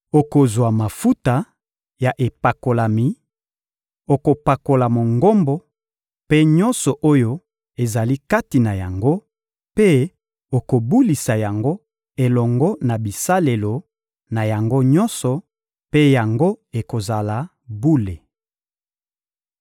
Okozwa mafuta ya epakolami, okopakola Mongombo mpe nyonso oyo ezali kati na yango, mpe okobulisa yango elongo na bisalelo na yango nyonso mpe yango ekozala bule.